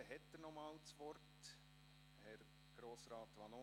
Dann hat er nochmals das Wort: Herr Grossrat Vanoni.